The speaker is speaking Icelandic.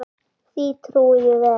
Því trúi ég vel.